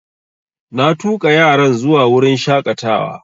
Na tuƙa yaran zuwa wurin shaƙatawa